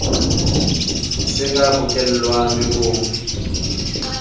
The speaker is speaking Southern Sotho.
se ka bokellwa le ho